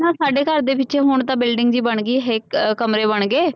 ਸਾਡੇ ਘਰ ਦੇ ਪਿਛੇ ਹੁਣ ਤਾ ਬਿਲਡਿੰਗ ਵੀ ਬਾਨਗੀ ਹਿਕ ਕਮਰੇ ਬਣ ਗਏ।